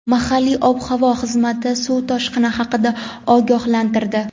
Mahalliy ob-havo xizmati suv toshqini haqida ogohlantirdi.